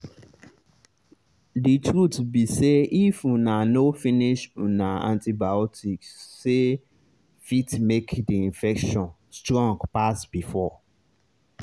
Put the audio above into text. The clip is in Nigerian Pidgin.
the truth be sayif una no finish una antibioticse fit make the infection strong pass before.